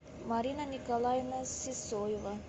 марина николаевна сысоева